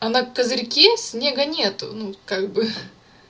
а на козырьке снега нет ну как бы